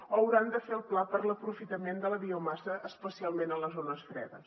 o hauran de fer el pla per a l’aprofitament de la biomassa especialment a les zones fredes